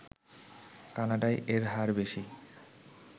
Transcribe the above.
কানাডায় এর হার বেশি